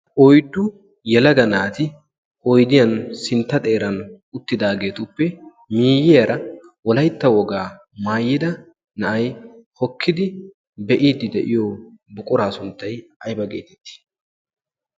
oiddu yalaga naati oidiyan sintta xeeran uttidaageetuppe miiyiyaara olaitta wogaa maayida na7ai hokkidi be7iiddi de7iyo buquraa sunttai aiba geetettii?